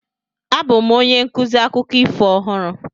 Abụ m onye nkuzi akụkọ ifo ọhụrụ.